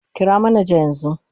Kira manaja yanzu